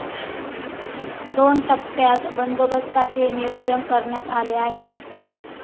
दोन टप्प्यात बंदोबस्ताचे नियोजन करण्यात आले आहे.